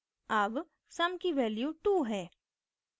अब sum की value 2 है